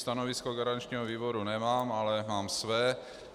Stanovisko garančního výboru nemám, ale mám své.